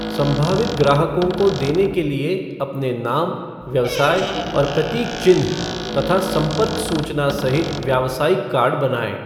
संभावित ग्राहकों को देने के लिए अपने नाम, व्यवसाय और प्रतीक चिन्ह, तथा संपर्क सूचना सहित व्यावसायिक कार्ड बनाएँ।